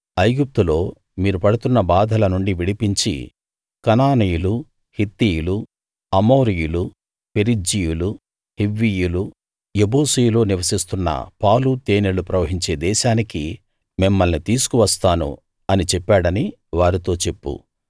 ఐగుప్తులో మీరు పడుతున్న బాధల నుండి విడిపించి కనానీయులు హిత్తీయులు అమోరీయులు పెరిజ్జీయులు హివ్వీయులు యెబూసీయులు నివసిస్తున్న పాలు తేనెలు ప్రవహించే దేశానికి మిమ్మల్ని తీసుకువస్తాను అని చెప్పాడని వారితో చెప్పు